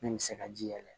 Min bɛ se ka ji yɛlɛ